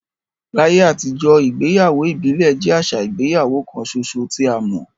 Láyé àtijọ́, ìgbéyàwó ìbílẹ̀ jẹ́ àṣà ìgbéyàwó kan ṣoṣo tí a mọ̀.